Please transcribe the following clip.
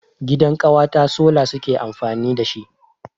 Gidan ƙawata sola suke amfani dashi.